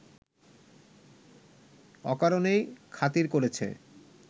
অকারণেই খাতির করেছে